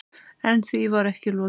En því var ekki lokið.